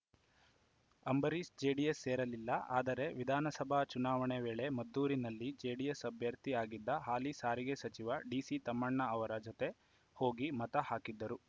Ambareesh JDS ಸೇರಲಿಲ್ಲ ಆದರೆ ವಿಧಾನಸಭಾ ಚುನಾವಣೆ ವೇಳೆ ಮದ್ದೂರಿನಲ್ಲಿ ಜೆಡಿಎಸ್‌ ಅಭ್ಯರ್ಥಿ ಆಗಿದ್ದ ಹಾಲಿ ಸಾರಿಗೆ ಸಚಿವ ಡಿಸಿತಮ್ಮಣ್ಣ ಅವರ ಜತೆ ಹೋಗಿ ಮತ ಹಾಕಿದ್ದರು